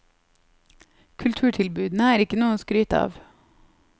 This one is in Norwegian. Kulturtilbudene er ikke noe å skryte av.